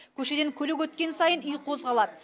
көшеден көлік өткен сайын үй қозғалады